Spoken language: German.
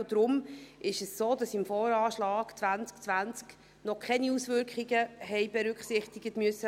Deshalb ist es so, dass im VA 2020 noch keine Auswirkungen berücksichtigt werden mussten.